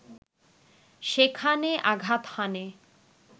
সেখানে আঘাত হানে